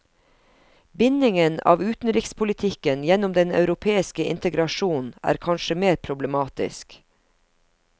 Bindingen av utenrikspolitikken gjennom den europeiske integrasjonen er kanskje mer problematisk.